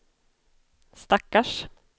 stackars